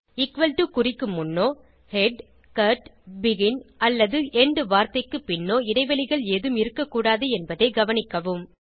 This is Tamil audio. டோ குறிக்கு முன்னோ ஹெட் கட் பெகின் அல்லது எண்ட் வார்த்தைக்கு பின்னோ இடைவெளிகள் ஏதும் இருக்க கூடாது என்பதை கவனிக்கவும்